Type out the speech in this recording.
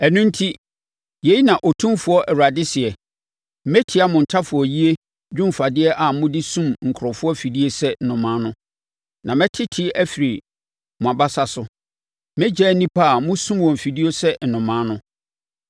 “ ‘No enti, yei na Otumfoɔ Awurade seɛ: Metia mo ntafowayie dwomfadeɛ a mode sum nkurɔfoɔ afidie sɛ nnomaa no, na mɛtete afiri mo abasa so; mɛgyaa nnipa a mosum wɔn afidie sɛ nnomaa no.